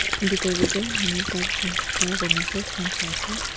bitor tae toh manu ekta khara kurina ase phone choiase.